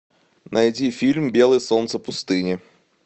найди фильм белое солнце пустыни